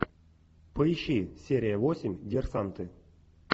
поищи серия восемь диверсанты